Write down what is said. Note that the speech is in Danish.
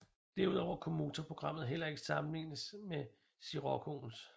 Derudover kunne motorprogrammet heller ikke sammenlignes med Sciroccoens